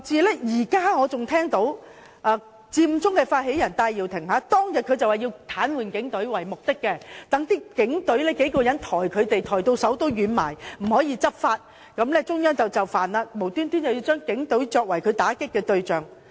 我現在還記得，佔中發起人戴耀廷當日表明要癱瘓警隊，要讓多名警員抬走他們，讓警員抬到手軟，無法執法，然後中央便會就範，無緣無故的把警隊作為他打擊的對象。